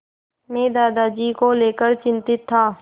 मैं दादाजी को लेकर चिंतित था